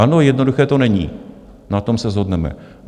Ano, jednoduché to není, na tom se shodneme.